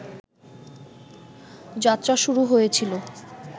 যাত্রা শুরু হয়েছিল